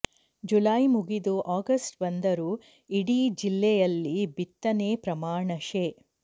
July ಮುಗಿದು August ಬಂದರೂ ಇಡೀ ಜಿಲ್ಲೆಯಲ್ಲಿ ಬಿತ್ತನೆ ಪ್ರಮಾಣ ಶೇ